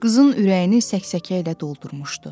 Qızın ürəyini səksəkəylə doldurmuşdu.